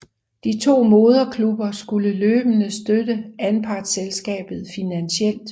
De to moderklubber skulle løbende støtte anpartselskabet finansielt